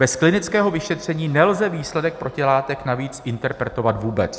Bez klinického vyšetření nelze výsledek protilátek navíc interpretovat vůbec.